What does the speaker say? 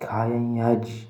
kayan yaji.